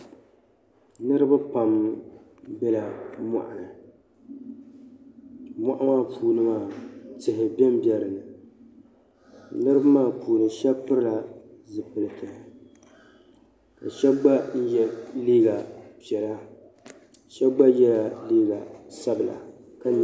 Niriba pam bela mɔɣuni. Mɔɣu maa puuni maa tihi bembeni. Niriba maa puuni shɛba pilila zipiliti ka shɛba gba ye liiga piɛla shɛba gba yɛla liiga sabila.